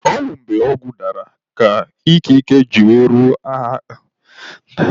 Ọ bụ mgbe ọgụ dara ka ikike ji ruo ndị agha aka.